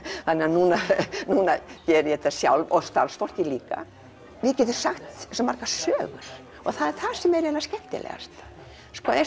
núna geri ég þetta sjálf og starfsfólkið líka við getum sagt svo margar sögur og það er það sem er skemmtilegast eins